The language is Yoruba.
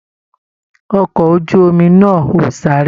Ọkọ ojú omi nà o sáré.